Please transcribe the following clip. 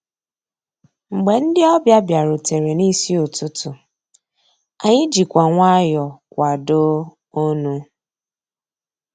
Mgbé ndị́ ọ̀bịá bìàrùtérè n'ísí ụtụtụ́, ànyị́ jìkwà nwayọ́ọ̀ kwàdóó ọnụ́.